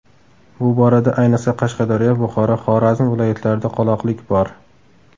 Bu borada, ayniqsa, Qashqadaryo, Buxoro, Xorazm viloyatlarida qoloqlik bor.